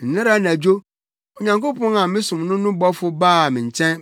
Nnɛra anadwo, Onyankopɔn a mesom no no bɔfo baa me nkyɛn